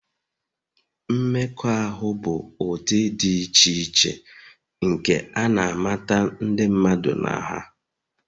Mmekọahụ bụ ụdị dị iche iche nke a na-amata ndị mmadụ na ha.